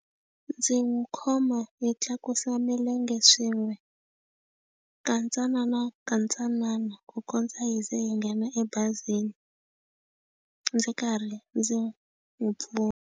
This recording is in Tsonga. Ndzi n'wi khoma hi tlakusa milenge swin'we, kantsananakantsanana ku kondza hi ze hi nghena ebazini ndzi karhi ndzi n'wi pfuna.